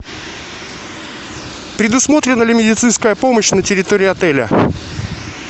предусмотрена ли медицинская помощь на территории отеля